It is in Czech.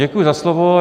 Děkuji za slovo.